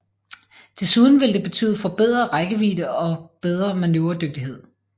Desuden ville det betyde forbedret rækkevidde og bedre manøvredygtighed